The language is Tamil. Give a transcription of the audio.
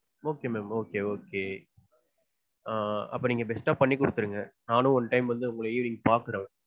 okay ma'am okay okay. ஆஹ் அப்போ நீங்க best டா பண்ணி கொடுத்துருங்க. நானும் one time வந்து உங்கள evening பாக்கறேன்.